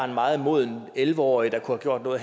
meget modne elleve årige der har gjort noget